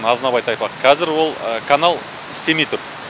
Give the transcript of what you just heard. азынабай тайпақ қазір ол канал істемей тұр